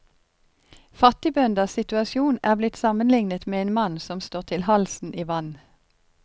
Fattigbønders situasjon er blitt sammenlignet med en mann som står til halsen i vann.